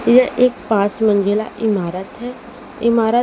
यह एक पांच मंजिला इमारत है इमारत--